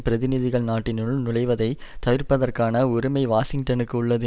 பிரதிநிதிகள் நாட்டினுள் நுளைவதைத் தவிர்ப்பதற்கான உரிமை வாஷிங்டனுக்கு உள்ளது